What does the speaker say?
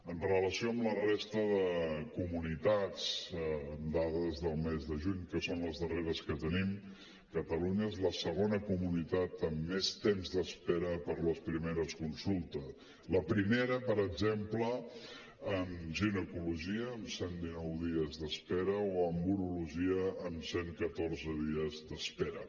amb relació a la resta de comunitats dades del mes de juny que són les darreres que tenim catalunya és la segona comunitat amb més temps d’espera per les primeres consultes la primera per exemple en ginecologia amb cent dinou dies d’espera o en urologia amb cent catorze dies d’espera